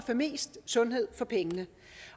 få mest sundhed for pengene